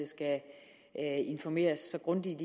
skal informeres så grundigt